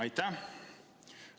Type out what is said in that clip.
Aitäh!